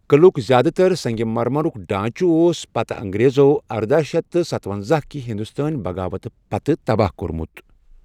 قٕلُعک زیادٕ تر سنگ مرمرُک ڈانٛچہٕ اوس پتہٕ انگریزو ارداہ شتھ تہٕ ستونٛزاہ کہِ ہندوستٲنۍ بغاوت پتہٕ تباہ کوٚرمُت۔